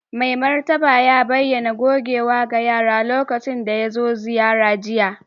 Mai martaba ya bayyana gogewa ga yara lokacin da ya zo ziyara jiya